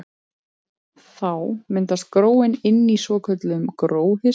Þá myndast gróin inni í svokölluðum gróhirslum.